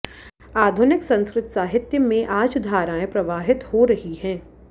आधुनिक संस्कृत साहित्य में आज धाराएं प्रवाहित हो रही है